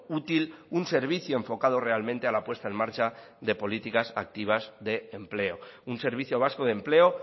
útil un servicio enfocado realmente a la puesta en marcha de políticas activas de empleo un servicio vasco de empleo